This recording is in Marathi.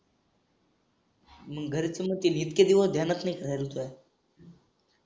मंग